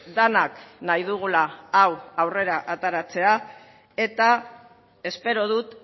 denak nahi dugula hau aurrera ateratzea eta espero dut